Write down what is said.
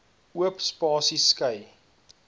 oop spasies skei